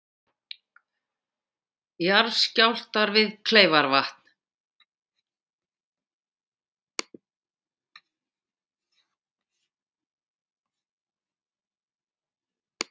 Jarðskjálftar við Kleifarvatn